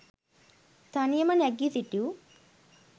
තනියම නැගි සිටිව්!